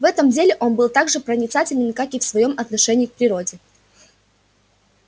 в этом деле он был так же проницателен как и в своём отношении к природе